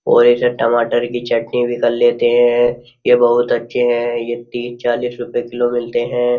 और इसे टमाटर की चटनी भी कर लेते हैं ये बहुत अच्छे हैं ये तीस चालीस रुपये किलो मिलते हैं।